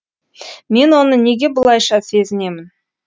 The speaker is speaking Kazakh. мен оны неге бұлайша сезінемін